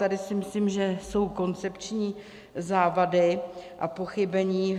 Tady si myslím, že jsou koncepční závady a pochybení.